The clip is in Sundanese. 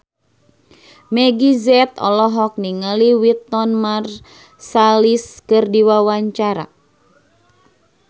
Meggie Z olohok ningali Wynton Marsalis keur diwawancara